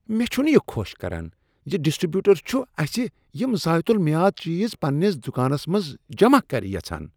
مےٚ چُھنہٕ یہ خۄش كران زِ ڈسٹرِبیوٹر چُھ اسہِ یم ذایتُل میاد چیز پننس دکانس منٛز جمع كرِ یژھان۔